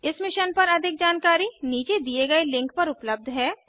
इस मिशन पर अधिक जानकारी नीचे दिए गए लिंक पर उपलब्ध है